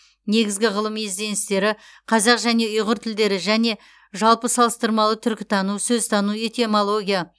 негізгі ғылыми ізденістері қазақ және ұйғыр тілдері және жалпы салыстырмалы түркітану сөзтану этимология